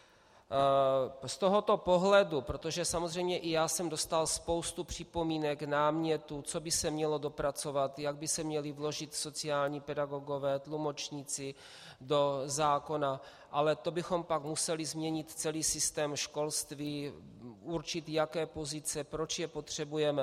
Z tohoto pohledu, protože samozřejmě i já jsem dostal spoustu připomínek, námětů, co by se mělo dopracovat, jak by se měli vložit sociální pedagogové, tlumočníci do zákona, ale to bychom pak museli změnit celý systém školství, určit, jaké pozice, proč je potřebujeme.